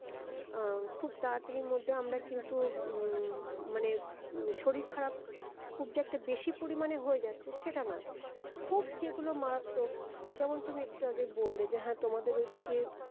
আহ খুব তাড়াতাড়ির মধ্যে আমরা কিন্তু উম মানে শরীর খারাপ খুব যে একটা বেশি পরিমানে হয়ে যাচ্ছে সেটা নয় খুব যেগুলো মারাত্মক যেমন তুমি একটু আগে বললে যে হ্যাঁ তোমাদের ওইদিকে